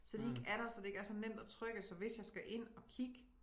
Så de ikke er der så det ikke er så nemt at trykke så hvis jeg skal ind at kigge